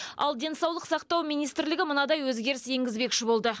ал денсаулық сақтау министрлігі мынадай өзгеріс енгізбекші болды